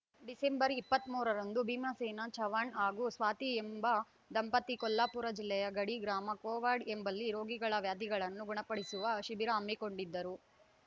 December ಇಪ್ಪತ್ತ್ ಮೂರರಂದು ಭೀಮಸೇನ ಚವಾಣ್‌ ಹಾಗೂ ಸ್ವಾತಿ ಎಂಬ ದಂಪತಿ ಕೊಲ್ಹಾಪುರ ಜಿಲ್ಲೆಯ ಗಡಿ ಗ್ರಾಮ ಕೋವಾಡ್‌ ಎಂಬಲ್ಲಿ ರೋಗಿಗಳ ವ್ಯಾಧಿಗಳನ್ನು ಗುಣಪಡಿಸುವ ಶಿಬಿರ ಹಮ್ಮಿಕೊಂಡಿದ್ದರು